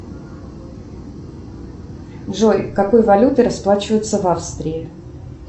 джой какой валютой расплачиваются в австрии